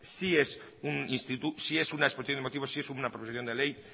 sí es una exposición de motivos sí es una proposición de ley